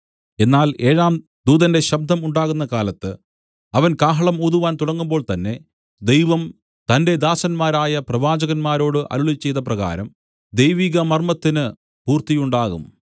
എന്നാൽ ഏഴാം ദൂതന്റെ ശബ്ദം ഉണ്ടാകുന്ന കാലത്ത് അവൻ കാഹളം ഊതുവാൻ തുടങ്ങുമ്പോൾ തന്നെ ദൈവം തന്റെ ദാസരായ പ്രവാചകന്മാരോട് അരുളിച്ചെയ്ത പ്രകാരം ദൈവിക മർമ്മത്തിനു പൂർത്തിയുണ്ടാകും